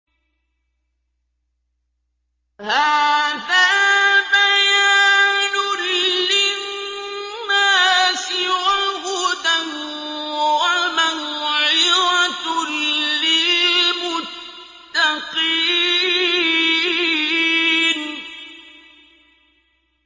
هَٰذَا بَيَانٌ لِّلنَّاسِ وَهُدًى وَمَوْعِظَةٌ لِّلْمُتَّقِينَ